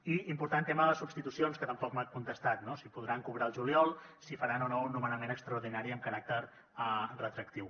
i important el tema de les substitucions que tampoc m’ha contestat no si podran cobrar el juliol si faran o no un nomenament extraordinari amb caràcter retroactiu